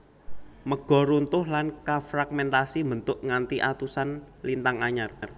Mega runtuh lan kafragmentasi mbentuk nganti atusan lintang anyar